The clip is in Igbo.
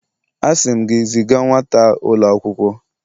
Asi m gi, ziga nwata a ulo akwukwo!